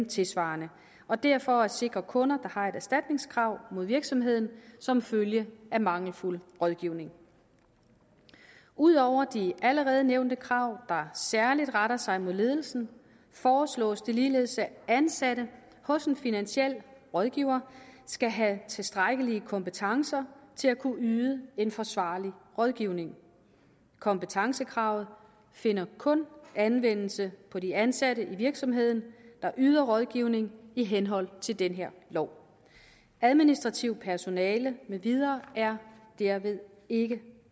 tilsvarende og det er for at sikre kunder der har et erstatningskrav mod virksomheden som følge af mangelfuld rådgivning ud over de allerede nævnte krav der særlig retter sig mod ledelsen foreslås det ligeledes at ansatte hos en finansiel rådgiver skal have tilstrækkelige kompetencer til at kunne yde en forsvarlig rådgivning kompetencekravet finder kun anvendelse på de ansatte i virksomheden der yder rådgivning i henhold til den her lov administrativt personale med videre er derved ikke